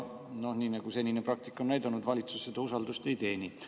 Nii nagu senine praktika on näidanud, valitsus seda usaldust välja ei ole teeninud.